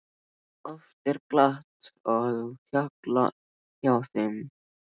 Oft er glatt á hjalla hjá þeim.